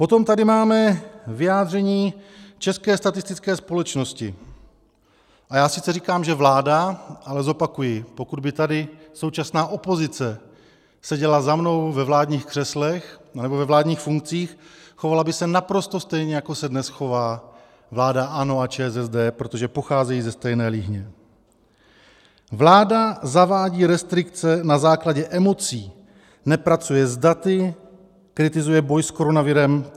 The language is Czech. Potom tady máme vyjádření České statistické společnosti, a já sice říkám, že vláda, ale zopakuji - pokud by tady současná opozice seděla za mnou ve vládních křeslech nebo ve vládních funkcích, chovala by se naprosto stejně, jako se dnes chová vláda ANO a ČSSD, protože pocházejí ze stejné líhně - vláda zavádí restrikce na základě emocí, nepracuje s daty, kritizuje boj s koronavirem.